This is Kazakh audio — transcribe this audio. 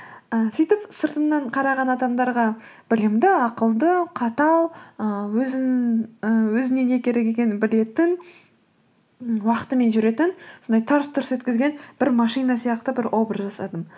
і сөйтіп сыртымнан қараған адамдарға білімді ақылды қатал ііі і өзіне не керек екенін білетін уақытымен жүретін сондай тарс тұрс еткізген бір машина сияқты бір образ жасадым